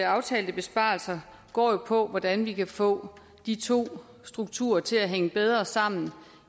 aftalte besparelser går jo på hvordan vi kan få de to strukturer til at hænge bedre sammen